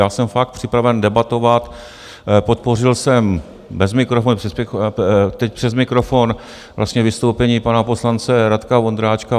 Já jsem fakt připraven debatovat, podpořil jsem bez mikrofonu, teď přes mikrofon vlastně vystoupení pana poslance Radka Vondráčka.